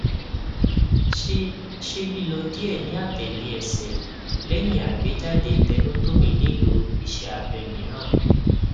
ṣe ṣe lilọ diẹ niatele ẹsẹ lẹhin agbejade tenotomy nilo iṣẹ abẹ miiran